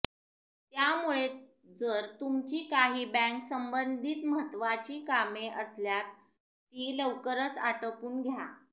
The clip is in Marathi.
त्यामुळे जर तुमची काही बँक संबंधित महत्वाची कामे असल्यात ती लवकरच आटोपून घ्या